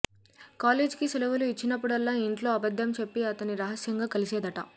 college కి సెలవులు ఇచ్చినప్పుడల్లా ఇంట్లో అబద్దం చెప్పి అతన్ని రహస్యంగా కలిసేదట